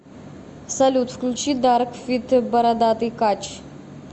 салют включи дарк фит бородатый кач